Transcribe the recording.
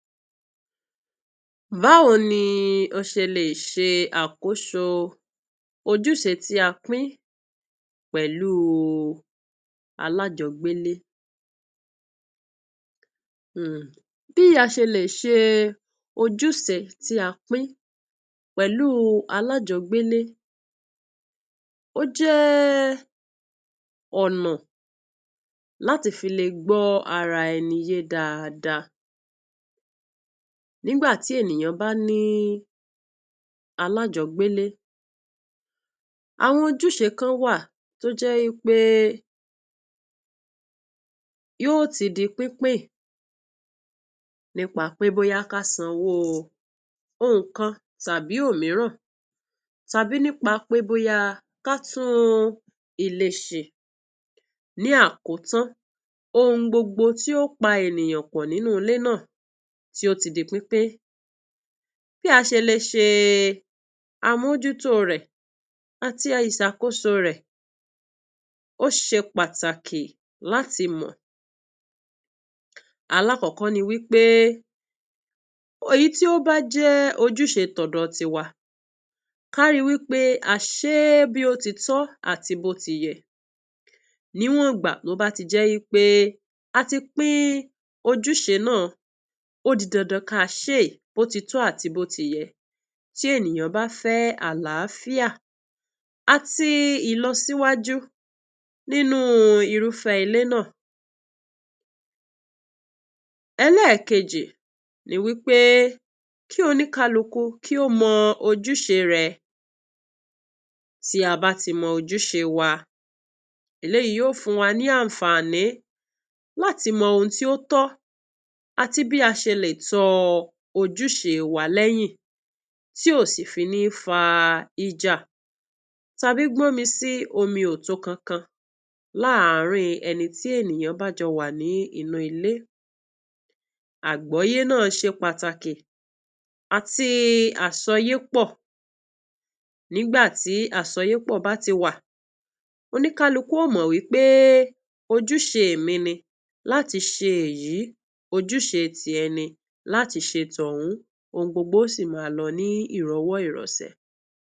Báwo ni Ọ̀sẹ̀lẹ̀ṣẹ̀ Àkóso Ojúṣe tí a Pín Pẹ̀lú Alájọ̀gbẹ́lé? Bí a ṣe ń ṣe ojúṣe tí a pín pẹ̀lú alájọ̀gbẹ́lé, ó jẹ́ ọ̀nà láti fi lè gbọ́ ara ẹni yé dáadáa nígbà tí ènìyàn bá ní alájọ̀gbẹ́lé. Àwọn ojúṣe kan wà tó jẹ́ wípé yóò ti di pínpín, nípa pé bóyá ká sanwó nkan tàbí omiiran, tàbí nípa pé ká tún ilé ṣe. Ní àkótán, gbogbo ohun tó pá ènìyàn pọ̀ nínú ilé náà, tí ó ti di pínpín, bí a ṣe lè ṣàbójútó rẹ àti ìṣàkóso rẹ jẹ́ pátáki láti mọ. Àkọ́kọ́ ni pé, ohun tó bá jẹ́ ojúṣe tòótọ́ tíwa, ká rí i pé a ṣe é bí òtítọ́ àti bó ti yẹ. Níwọ̀n igba tí ó bá ti jẹ́ pé àtipín ojúṣe náà, ó jẹ́ ọ̀díǹdáǹ ká ṣe é bó ti tọ́, bóyá ènìyàn bá fẹ́ àlàáfíà àti ìlọsíwájú nínú irú ilé náà. Èkejì ni pé kí oní-kálùkù mọ ojúṣe rẹ̀. Bí a bá ti mọ ojúṣe wa, èyí yóò fún wa ní àǹfààní láti mọ ohun tó tọ́, àti bí a ṣe lè tó ojúṣe wa. Lẹ́yìn náà, kò ní fa ìjà tàbí gbọ̀nmísí omi kankan láàárín ẹni tí a bá jọ wà nínú ilé. Àgbọ̀yé náà ṣe pátáki àti àsọyépọ̀, nígbà tí àsọyépọ̀ bá ti wà, oní-kálùkù yóò mọ pé ojúṣe mi ni láti ṣe èyí, ojúṣe tirẹ̀ ni láti ṣe tóhùn. Gbogbo ohun yóò sì máa lọ ní ìròwòròṣé.